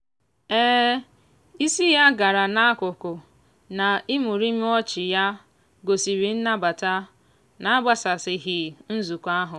isi ya gara n'akụkụ na imurimu ọchị ya gosiri nnabata na-agbasasịghị nzukọ ahụ.